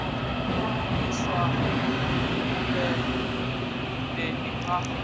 hu u iswa mundendeni a